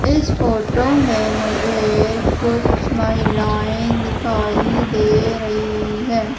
इस फोटो में मुझे कुछ महिलाएं दिखाई दे रहीं हैं।